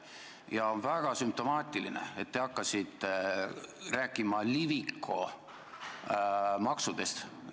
Ja on väga sümptomaatiline, et te hakkasite rääkima Liviko maksudest.